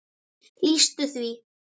lýstu því?